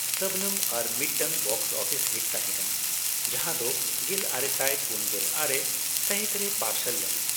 ᱥᱚᱵᱽᱱᱚᱢ ᱟᱨ ᱢᱤᱫᱴᱟᱝ box office hit ᱛᱟᱦᱮᱸᱠᱟᱱᱟ ᱡᱟᱦᱟᱸᱫᱚ ᱜᱮᱞᱟᱨᱮᱥᱟᱭ ᱯᱩᱱᱜᱮᱞ ᱟᱨᱮ ᱥᱟᱹᱦᱤᱛ ᱨᱮ ᱯᱟᱨᱥᱟᱞ ᱞᱮᱱᱟ ᱾